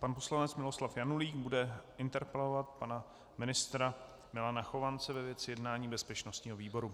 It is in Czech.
Pan poslanec Miloslav Janulík bude interpelovat pana ministra Milana Chovance ve věci jednání bezpečnostního výboru.